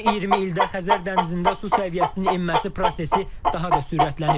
Son 20 ildə Xəzər dənizində su səviyyəsinin enməsi prosesi daha da sürətlənib.